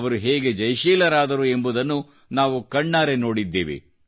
ಅವರು ಹೇಗೆ ಜಯಶೀಲರಾದರು ಎಂಬುದನ್ನು ನಾವು ಕಣ್ಣಾರೆ ನೋಡಿದ್ದೇವೆ